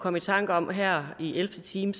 komme i tanker om her i ellevte time